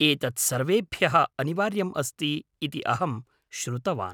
एतत् सर्वेभ्यः अनिवार्यम् अस्ति इति अहं श्रुतवान्।